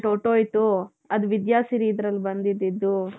ಹೊರತು ಹೋಯ್ತು ಅದು ವಿದ್ಯಾ ಸಿರಿ ಇದರಲ್ಲಿ ಬಂದಿದಿದ್ದು .